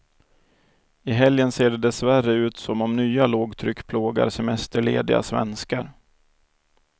I helgen ser det dessvärre ut som om nya lågtryck plågar semesterlediga svenskar.